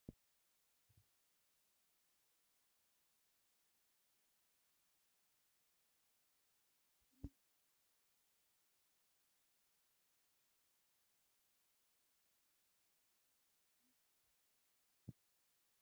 Huuphphiyaa keehippe loytta dadissa wottidaba milatiyaa na'iyaa i meraykka arssa shin ba naa"u kushiyaan ayssi ba huuphphiyaa oyqqidaakko ooninne eriyaabi baawa!